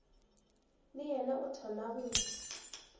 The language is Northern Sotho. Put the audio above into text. le yena o thoma go